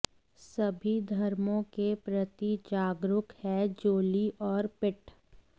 सभी धर्मों के प्रति जागरूक हैं जोली और पिट